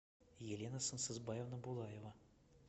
елена сансызбаевна булаева